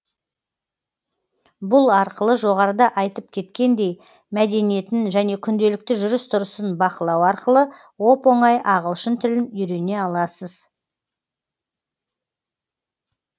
бұл арқылы жоғарыда айтып кеткендей мәдениетін және күнделікті жүріс тұрысын бақылау арқылы оп оңай ағылшын тілін үйрене аласыз